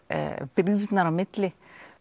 brýrnar á milli